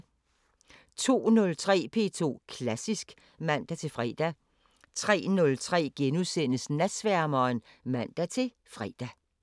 02:03: P2 Klassisk (man-fre) 03:03: Natsværmeren *(man-fre)